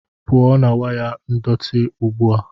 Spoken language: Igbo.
pụọ na waya ndọtị ugbu a!